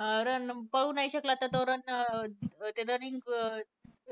अं run पळू नाही शकला तर तो run अं running